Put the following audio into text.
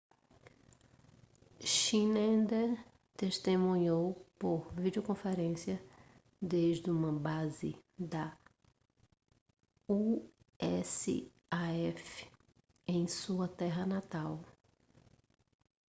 schneider testemunhou por videoconferência desde uma base da usaf em sua terra natal